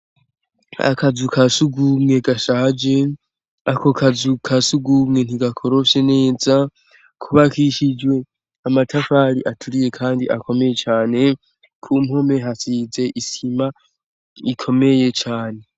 Akazu kasugumwe gashaje, ako kazu kasugumwe, ntigakorofye neza, kubakishijwe amatafari aturiye kandi akomeye cane. Ku mpome hasize isima ikomeye cane.